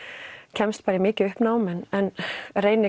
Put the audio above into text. kemst í mikið uppnám en reyni